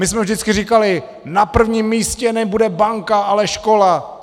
My jsme vždycky říkali: Na prvním místě nebude banka, ale škola!